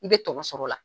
I bɛ tɔnɔ sɔrɔ o la